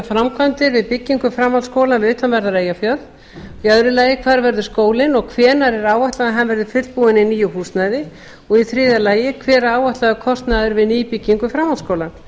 framkvæmdir við byggingu framhaldsskóla við utanverðan eyjafjörð í öðru lagi hvar verður skólinn og hvenær er áætlað að hann verði tilbúinn í nýju húsnæði og í þriðja lagi hver er áætlaður kostnaður við nýbyggingu framhaldsskóla